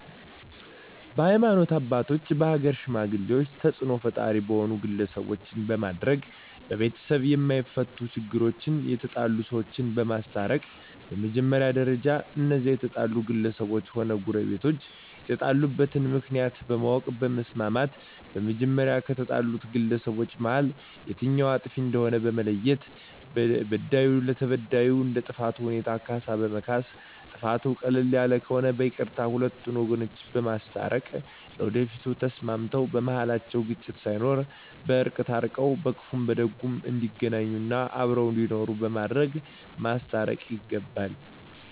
በሀይማኖት አባቶች በሀገር ሽማግሌ ተፅእኖ ፈጣሪ በሆኑ ግለሰቦች በማድረግ በቤተሰብ የማፈቱ ችግሮች የተጣሉ ሰዎችን በማስታረቅ በመጀመሪያ ደረጃ እነዚያ የተጣሉ ግለሰቦችም ሆነ ጎረቤቶች የተጣሉበትን ምክንያት በማወቅ በማስማማት በመጀመሪያ ከተጣሉት ግለሰቦች መሀል የትኛዉ አጥፊ እንደሆነ በመለየት በዳዩ ለተበዳዩ እንደ ጥፋቱ ሁኔታ ካሳ በማስካስ ጥፋቱ ቀለል ያለ ከሆነ በይቅርታ ሁለቱን ወገኖች በማስታረቅ ለወደፊቱ ተስማምተዉ በመሀላቸዉ ግጭት ሳይኖር በእርቅ ታርቀዉ በክፉም በደጉም እንዲገናኙ እና አብረዉ እንዲኖሩ በማድረግ ማስታረቅ ይገባል